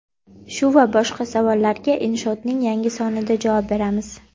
Shu va boshqa savollarga Inshoot’ning yangi sonida javob beramiz.